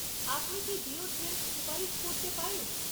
আপনি কি ডিওড্রেন্ট সুপারিশ করতে পারেন?